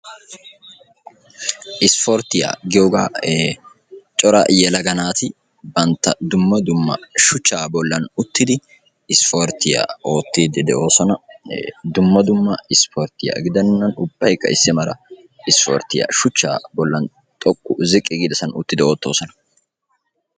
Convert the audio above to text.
Issporttiya giyoga. Cora yeelaga naati bantta dumma dumma shuuchcha bollani uttidi issporttiya oottidi deosona. Dumma dumma issporttiya gidenan ubbayka issi maalaa issporttiya shuuchcha bollan xoqqu ziqqi giddasan oottidi de'osona.